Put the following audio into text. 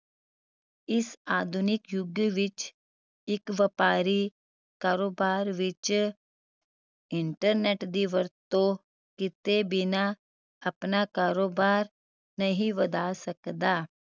ਇਸ ਆਧੁਨਿਕ ਯੁਗ ਵਿੱਚ ਇੱਕ ਵਪਾਰੀ ਕਾਰੋਬਾਰ ਵਿਚ internet ਦੀ ਵਰਤੋਂ ਕਿਤੇ ਬਿਨਾ ਆਪਣਾ ਕਾਰੋਬਾਰ ਨਹੀਂ ਵਧਾ ਸਕਦਾ